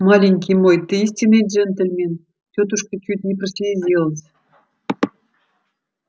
маленький мой ты истинный джентльмен тётушка чуть не прослезилась